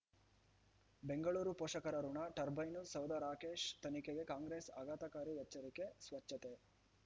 ಬೆಂಗಳೂರು ಪೋಷಕರಋಣ ಟರ್ಬೈನು ಸೌಧ ರಾಕೇಶ್ ತನಿಖೆಗೆ ಕಾಂಗ್ರೆಸ್ ಆಘಾತಕಾರಿ ಎಚ್ಚರಿಕೆ ಸ್ವಚ್ಛತೆ